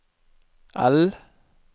L